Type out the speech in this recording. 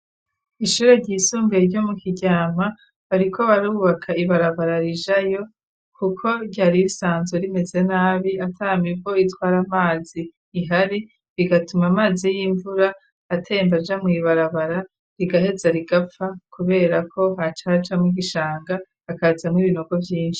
ishure ryisumbuye ryo mu kiryama bariko barubaka ibarabara rijayo kuko ryari risanzwe rimeze nabi. Atamivo itwara amazi ihari rigatuma amazi y'imvura atembaja mu ibarabara rigaheza rigapfa kubera ko hacaca mu igishanga akaza m'ibinogo vyinshi.